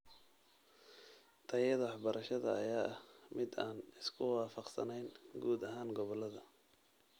Tayada waxbarashada ayaa ah mid aan isku waafaqsanayn guud ahaan gobolada.